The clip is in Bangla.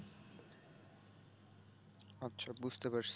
আচ্ছা বুঝতে পারছি।